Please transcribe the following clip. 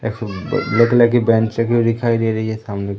एक सो black colour की बेचें क्यों दिखाई दे रही है सामने की ओर--